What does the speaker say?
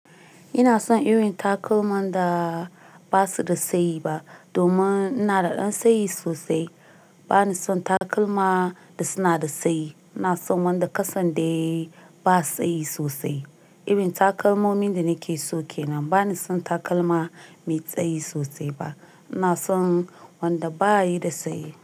Ina son irin takalman da ba su da tsayi ba domin ina da ɗan tsayi sosai. Ba ni son takalma da suna da tsayi. Ina son wanda kasan dai ba tsayi sosai. Irin takalmomin da nake so ke nan. Ba ni son takalma mai tsayi sosai ba. Ina son wanda ba yi da tsayi.